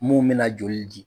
Mun bɛ na joli di.